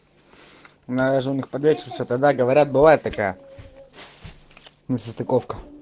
на женных подрядчиц тогда говорят бывает такая несостыковка